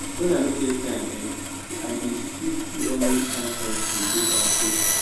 when i no get time[um]i dey still still always find time to dey dey kampe